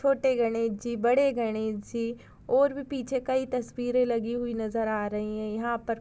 छोटे गणेशजी बड़े गणेशजी और भी पीछे कई तस्वीरे लगी हुई नजर आ रही है यहाँ पर--